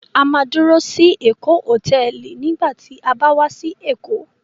A máa dúró sí Èkó Hòtẹ́ẹ́lì nígbà tí a bá wá sí Èkó.